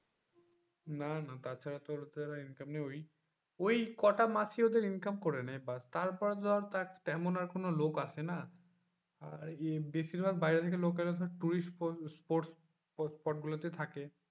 না না তাছাড়া ওদের income ওই ওই কটা মাস ই ওদের income করা নাই ব্যাস তারপর ধর তেমন কোন লোক আসেনা আর বেশিরভাগ বাইরে থেকে লোক এলে তো ধর tourist sport spot গুলোতেই থাকে,